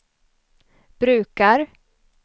brukar